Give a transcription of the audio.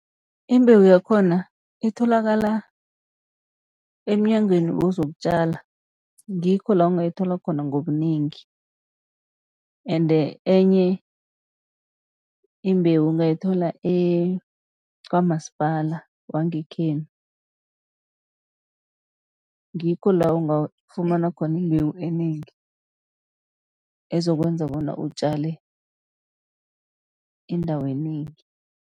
Imbewu yakhona itholakala emyangweni wezokutjala ngikho la ungayithola khona ngobunengi. Ende enye imbewu ungayithola kwamasipala wangekhenu, ngikho la ungafumana khona imbewu enengi, ezokwenza bona utjale indawo enengi.